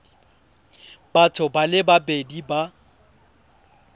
batho ba le babedi ba